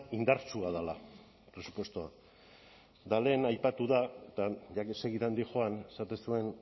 indartsua dela presupuestoa eta lehen aipatu da eta ya que segidan doan esaten zuen